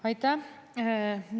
Aitäh!